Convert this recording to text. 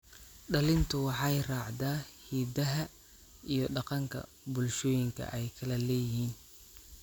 Dhalintu waxay raacdaa hiddaha iyo dhaqanka bulshooyinka ay kala leeyihiin.